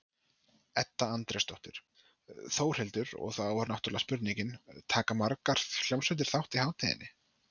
Edda Andrésdóttir: Þórhildur, og þá er náttúrulega spurningin, taka margar hljómsveitir þátt í hátíðinni?